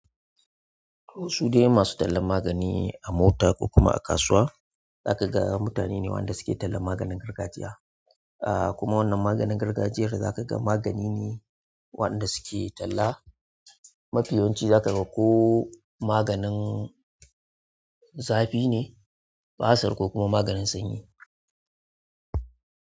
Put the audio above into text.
Su dai masu tallan magani a mota ko kuma a kasuwa za ka ga mutane ne wanda suke tallan maganin gargajiya. Ah kuma wannan maganin gargajiyar za ka ga magani ne wanda suke talla. Mafi yawan shi zakaga ko maganin zafi ne, basir ko kuma maganin sanyi.